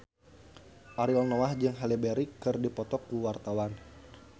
Ariel Noah jeung Halle Berry keur dipoto ku wartawan